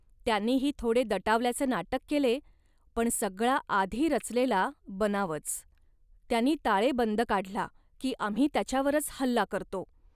त्यांनीही थोडे दटावल्याचे नाटक केले, पण सगळा आधी रचलेला बनावच. त्यांनी ताळेबंद काढला, की आम्ही त्याच्यावरच हल्ला करतो